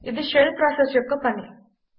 ఇది shell process యొక్క పని